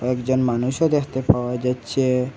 একজন মানুষও দেখতে পাওয়া যাচ্ছে।